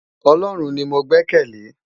Òlòrún ni mó gbèkèlé